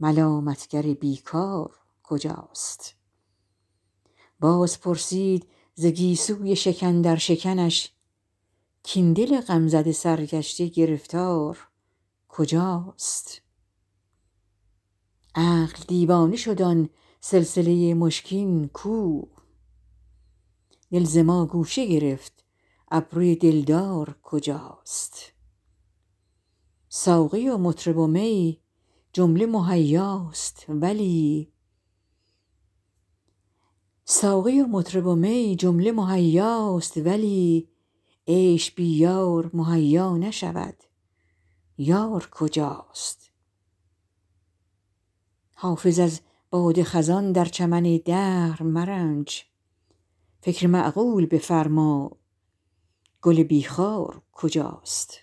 ملامت گر بی کار کجاست باز پرسید ز گیسوی شکن در شکنش کاین دل غم زده سرگشته گرفتار کجاست عقل دیوانه شد آن سلسله مشکین کو دل ز ما گوشه گرفت ابروی دلدار کجاست ساقی و مطرب و می جمله مهیاست ولی عیش بی یار مهیا نشود یار کجاست حافظ از باد خزان در چمن دهر مرنج فکر معقول بفرما گل بی خار کجاست